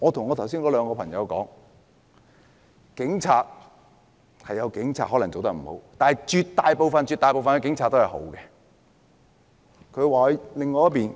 我對那兩個朋友說，可能有警察做得不好，但絕大部分警察都是好的。